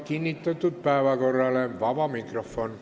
Kinnitatud päevakorra kohaselt algab vaba mikrofon.